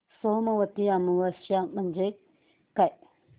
सोमवती अमावस्या म्हणजे काय